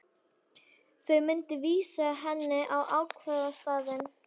Þau myndu vísa henni á ákvörðunarstaðinn.